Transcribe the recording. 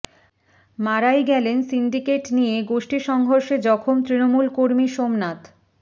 মারাই গেলেন সিন্ডিকেট নিয়ে গোষ্ঠী সংঘর্ষে জখম তৃণমূল কর্মী সোমনাথ